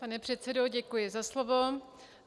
Pane předsedo, děkuji za slovo.